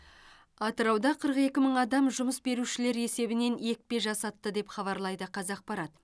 атырауда қырық екі мың адам жұмыс берушілер есебінен екпе жасатты деп хабарлайды қазақпарат